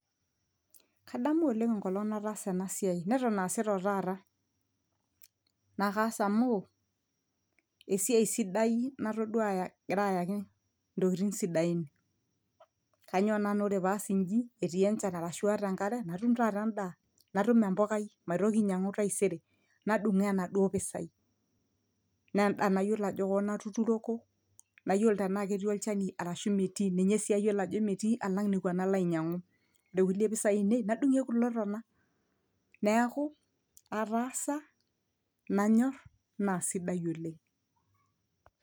kadamu oleng enkolong nataasa ena siai neton aasita otaata naa kaas amu esiai sidai natodua agira ayaki intokitin sidain kanyio naa naa ore paas inji etii enchan arashu aaata enkare natum taata endaa natum empokai maitoki ainyiang'u taisere nadung'oo enaduo pisai neendaa nayiolo ajo koon atuturoko nayiolo tanaa ketii olchani arashu metii ninye sii ayiolo ajo metii alang nekua nalo ainyiang'u ode kulie pisai ainei nadung'ie kulo tona neeku ataasa nanyorr naa sidai oleng.